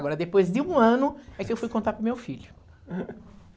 Agora, depois de um ano é que eu fui contar para o meu filho.